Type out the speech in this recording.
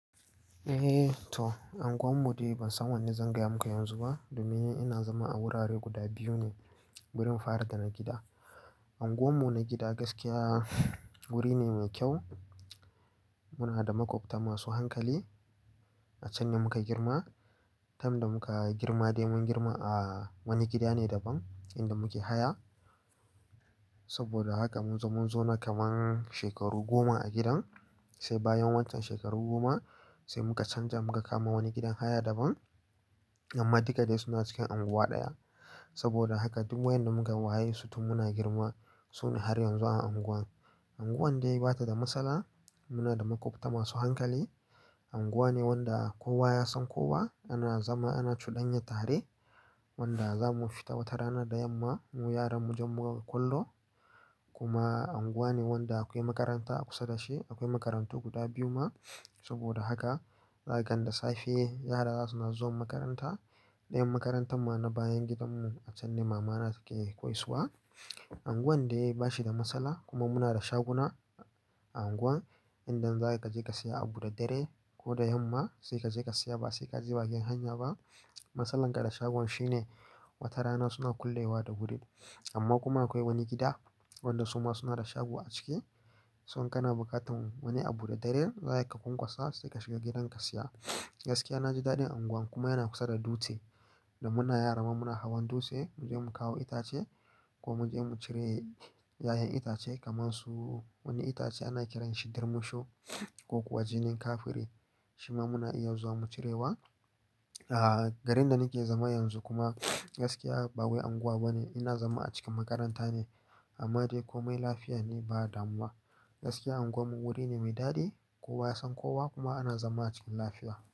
Eh to, unguwar mu dai ban san wanne zan gaya maka yanzu ba. Domin ina zama a wurare guda biyu ne, wurin fari da na gida. Unguwar mu na gida gaskiya, wuri ne mai kyau. Muna da makwabta masu hankali, a can ne muka girma. Tam da muka girma dai mun girma a wani gida ne daban, inda muke haya. Saboda haka mun zo mun zo na kaman shekaru goma a gidan, sai bayan waccan shekaru goma, sai muka canja muka kama wani gidan haya daban. Amma duka dai suna cikin unguwa ɗaya. Saboda haka duk wayanda muka waye su tun muna girma, su ne har yanzu a unguwan. Unguwan dai bata da matsala. Muna da makwabta masu hankali. Unguwa ne wanda kowa ya san kowa. Ana zama ana cuɗanya tare, wanda za mu fita wata rana da yamma, mu yara mu je mu kwallo. Kuma unguwa ne wanda akwai makaranta a kusa da shi. Akwai makarantu guda biyu ma. Saboda haka, zakan da safe yara za suna zuwa makaranta. Ɗayan makarantar mu na bayan gidanmu, a can ne mama na take koyaswa. Unguwan dai bashi da matsala, kuma muna da shaguna a unguwan. Idan zaka je ka saya abu da dare ko da yamma, sai ka je ka saya ba sai ka je bakin hanya ba. Matsalarka da shagon shine, wata rana suna kullewa da wuri. Amma kuma akwai wani gida, wanda suma suna da shago a ciki. So in kana buƙatan wani abu da dare, zaki ka kwankwasa sai ka shiga gidan ka saya. Gaskiya na ji daɗin unguwan kuma yana kusa da dutse. Da muna yara kuma muna hawan dutse, mu je mu kawo itace, ko mu je mu cire yayen itace kamar su wani itace ana kiranshi ɗormusho, ko kuwa jinin kafire. Shi ma muna iya zuwa mu cirewa. Aaa, garin da nake zama yanzu kuma, gaskiya ba wai unguwa ba ne. Ina zama a cikin makaranta ne. Amma dai komai lafiya ne ba damuwa. Gaskiya unguwar mu wuri ne mai daɗi. Kowa ya san kowa kuma ana zama cikin lafiya.